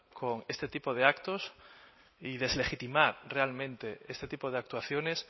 con este tipo de actos y deslegitimar realmente este tipo de actuaciones